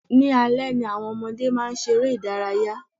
Ní alẹ́ ni àwọn ọmọdé máa ṣeré ìdárayá.